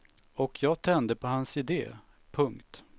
Och jag tände på hans idé. punkt